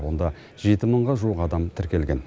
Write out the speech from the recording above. онда жеті мыңға жуық адам тіркелген